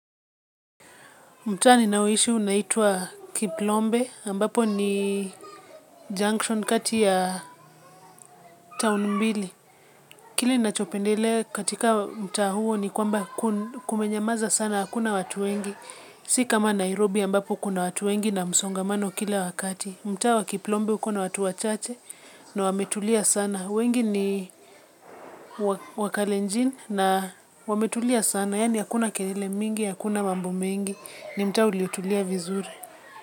Mtaa ninaoishi unaitwa Kiplombe ambapo ni junction kati ya town mbili kile ninachopendelea katika mtaa huo ni kwamba kumenyamaza sana hakuna watu wengi. Si kama Nairobi ambapo kuna watu wengi na msongamano kila wakati. Mtaa wa Kiplombe uko na watu wachache na wametulia sana. Wengi ni wakalenjin na wametulia sana. Yaani hakuna kelele mingi, hakuna mambo mingi ni mtaa uliotulia vizuri.